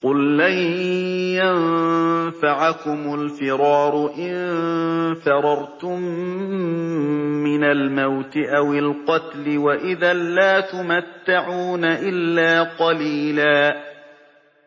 قُل لَّن يَنفَعَكُمُ الْفِرَارُ إِن فَرَرْتُم مِّنَ الْمَوْتِ أَوِ الْقَتْلِ وَإِذًا لَّا تُمَتَّعُونَ إِلَّا قَلِيلًا